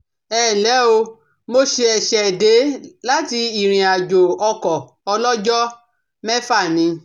Ẹ ǹ lẹ́ o, mo ṣẹ̀ṣẹ̀ dé láti ìrìnàjò ọkọ̀ ọlọ́jọ́ mẹ́fà ni